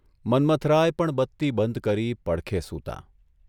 મન્મથરાય પણ બત્તી બંધ કરી પડખે સૂતાં.